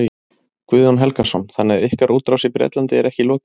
Guðjón Helgason: Þannig að ykkar útrás í Bretlandi er ekki lokið?